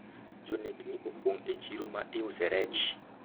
jonekni opong e chiro ma iuse rech